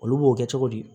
Olu b'o kɛ cogo di